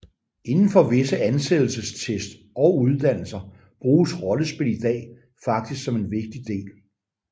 Indenfor visse ansættelsestest og uddannelser bruges rollespil i dag faktisk som en vigtig del